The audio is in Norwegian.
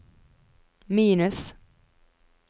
minus